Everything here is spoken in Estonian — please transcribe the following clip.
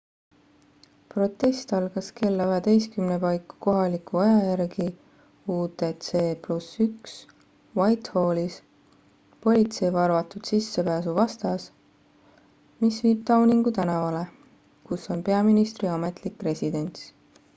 protest algas kella 11.00 paiku kohaliku aja järgi utc +1 whitehallis politsei valvatud sissepääsu vastas mis viib downingu tänavale kus on peaministri ametlik residents